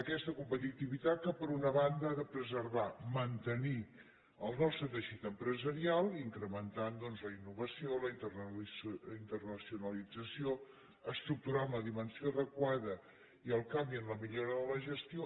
aquesta competitivitat que per una banda ha de preservar mantenir el nostre teixit empresarial incrementant doncs la innovació la internacionalització estructurant la dimensió adequada i el canvi en la millora de la gestió